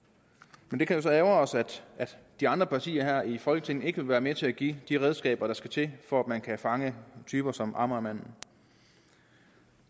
men det kan jo så ærgre os at de andre partier her i folketinget ikke vil være med til at give de redskaber der skal til for at man kan fange typer som amagermanden